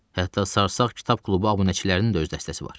Hətta sarsaq kitab klubu abunəçilərinin də öz dəstəsi var.